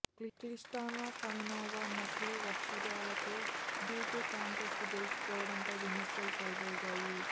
Christina Kamenova నకిలీ వక్షోజాలతో beauty contest గెలుచుకోవడంపై విమర్శలు చేలరేగాయి